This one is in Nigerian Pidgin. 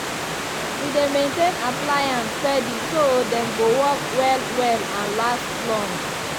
we dey maintain appliances steady so dem go work well well and last long.